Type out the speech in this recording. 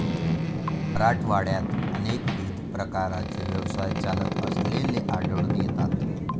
मराठवाड्यात अनेकविध प्रकारचे व्यवसाय चालत असलेले आढळून येतात.